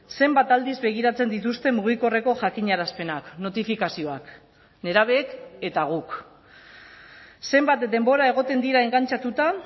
zenbat aldiz begiratzen dituzte mugikorreko jakinarazpenak notifikazioak nerabeek eta guk zenbat denbora egoten dira engantxatuta